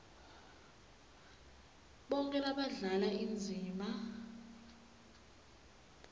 bonkhe labadlala indzima